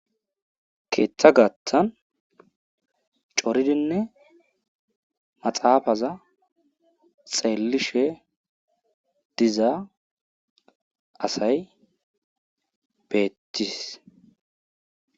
Keetha gaatha coridzinne maxaafaza xeellahe diza asay beettis.